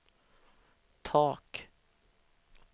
tak